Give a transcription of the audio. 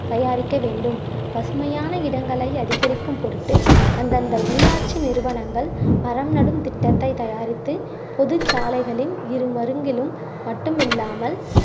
தயாரிக்க வேண்டும் பசுமையான இடங்களை அதிகரிக்கும் பொருட்டு அந்தந்த உள்ளாட்சி நிறுவனங்கள் மரம் நடும் திட்டத்தை தயாரித்து பொது சாலைகளின் இருமருங்கிளும் மட்டும் இல்லாமல்